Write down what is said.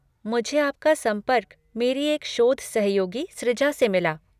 मुझे आपका संपर्क मेरी एक शोध सहयोगी सृजा से मिला।